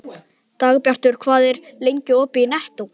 Dagbjartur, hvað er lengi opið í Nettó?